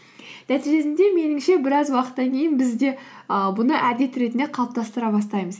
нәтижесінде меніңше біраз уақыттан кейін біз де ііі бұны әдет ретінде қалыптастыра бастаймыз